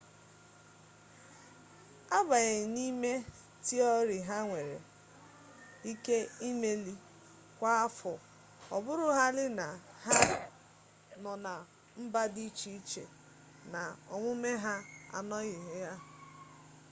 agbanyeghị n’ime tiori ha nwere ike imeli kwa afọ ọ bụrụhaala na ha nọ na mba dị iche iche na omume ha anọghị ya